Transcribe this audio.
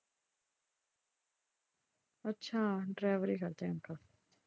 ਅੱਛਾ ਡਰਾਇਵਰੀ ਕਰਦੇ ਆ ਅੰਕਲ।